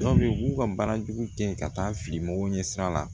Dɔw bɛ yen u b'u ka baara jugu kɛ ka taa fili mɔgɔw ɲɛ sira la